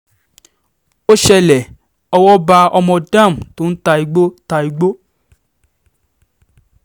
ó ṣẹlẹ̀ owó bá ọmọ dam tó ń ta igbó ta igbó